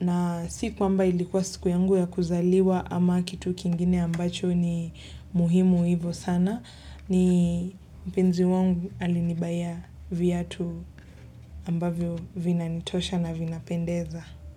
na si kwamba ilikuwa siku yangu ya kuzaliwa ama kitu kingine ambacho ni muhimu hivyo sana ni mpenzi wangu alininunulia viatu ambavyo vinanitosha na vinapendeza.